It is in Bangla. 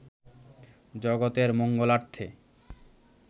জগতের মঙ্গলার্থে